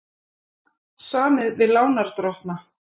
Samið við lánardrottna